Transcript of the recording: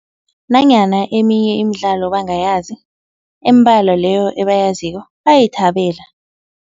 Nanyana eminye imidlalo bangayazi, embalwa leyo ebayaziko bayayithabela.